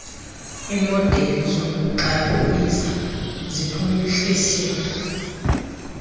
iimodeli zokuxabisa ziphuhlisiwe